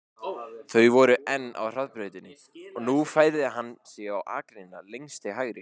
Þau voru enn á hraðbrautinni og nú færði hann sig á akreinina lengst til hægri.